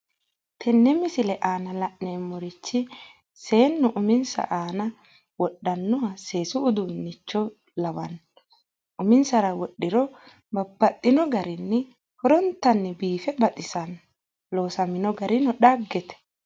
Tenne misile aana la'neemmorichi seennu uminsa aana wodhannoha seesu uduunnicho lawanno. Uminsara wodhiro babbaxxino garinni horontanni biife baxisanno. Loosamino garino dhaggete.